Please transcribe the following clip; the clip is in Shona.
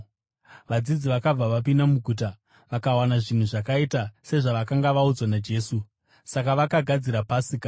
Vadzidzi vakabva, vakapinda muguta vakawana zvinhu zvakaita sezvavakanga vaudzwa naJesu. Saka vakagadzira Pasika.